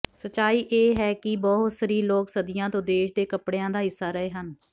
ਸੱਚਾਈ ਇਹ ਹੈ ਕਿ ਬਹੁਸਰੀ ਲੋਕ ਸਦੀਆਂ ਤੋਂ ਦੇਸ਼ ਦੇ ਕੱਪੜਿਆਂ ਦਾ ਹਿੱਸਾ ਰਹੇ ਹਨ